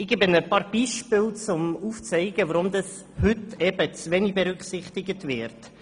Ich nenne ein paar Beispiele, um aufzuzeigen, weshalb diese Grundsätze heute zu wenig berücksichtigt werden.